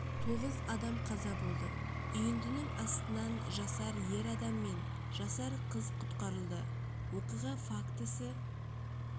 тоғыз адам қаза болды үйіндінің астынан жасар ер адам мен жасар қыз құтқарылды оқиға фактісі